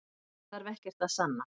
Hann þarf ekkert að sanna